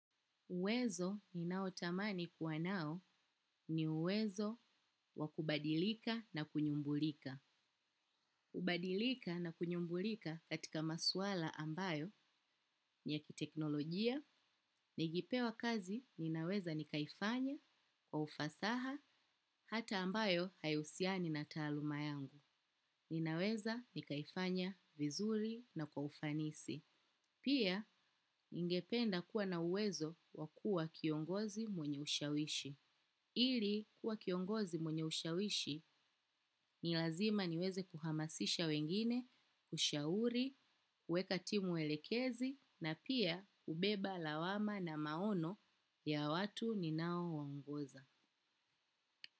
Uwezo ni nao tamani kuwa nao, ni uwezo wakubadilika na kunyumbulika. Kubadilika na kunyumbulika katika maswala ambayo ni ya kiteknolojia. Nikipewa kazi ninaweza nikaifanya kwa ufasaha hata ambayo haihusiani na taaluma yangu. Ni naweza ni kaifanya vizuri na kwa ufanisi. Pia, ningependa kuwa na uwezo wakua kiongozi mwenye ushawishi. Ili kuwa kiongozi mwenye ushawishi ni lazima niweze kuhamasisha wengine, kushauri, weka timu welekezi na pia ubeba lawama na maono ya watu ni nao wangoza.